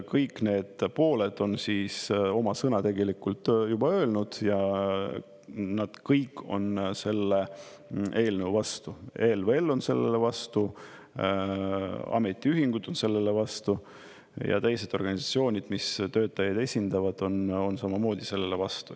Kõik need pooled on oma sõna tegelikult juba öelnud ja nad kõik on selle eelnõu vastu: ELVL on sellele vastu, ametiühingud on sellele vastu ja teised organisatsioonid, mis töötajaid esindavad, on samamoodi sellele vastu.